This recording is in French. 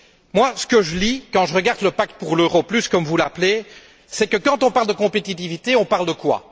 Moi, ce que je lis quand je regarde le pacte pour l'euro plus, comme vous l'appelez, c'est que, quand on parle de compétitivité, on parle de quoi?